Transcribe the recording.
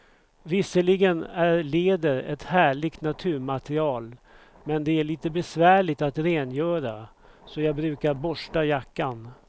Visserligen är läder ett härligt naturmaterial, men det är lite besvärligt att rengöra, så jag brukar borsta jackan.